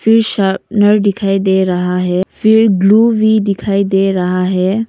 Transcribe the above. दिखाई दे रहा है फिर ग्लू भी दिखाई दे रहा है।